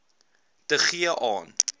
te gee aan